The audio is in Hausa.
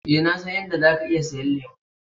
Eh, na san in da zaka iya siyan lemu.